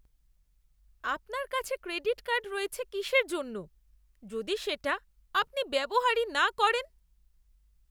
আপনার কাছে credit card রয়েছে কিসের জন্য যদি সেটা আপনি ব্যবহারই না করেন?